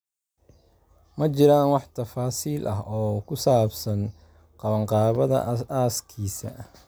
Ma jiraan wax tafaasiil ah oo ku saabsan qabanqaabada aaskiisa.